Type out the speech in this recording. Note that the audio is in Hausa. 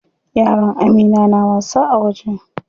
Yaran Amina na wasa a waje.